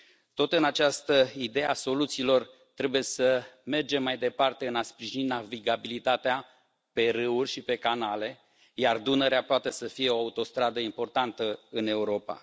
Tot în această idee a soluțiilor, trebuie să mergem mai departe în a sprijini navigabilitatea pe râuri și pe canale, iar Dunărea poate să fie o autostradă importantă în Europa.